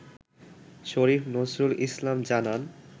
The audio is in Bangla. শরীফ নজরুল ইসলাম জানান